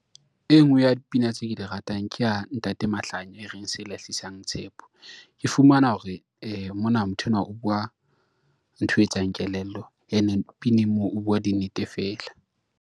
E ngwe ya dipina tseo ke di ratang, ke ya ntate Mahlanya e reng se lahlisang tshepo. Ke fumana hore mona motho enwa o bua, ntho e etsang kelello ene pineng moo o bua di nnete feela.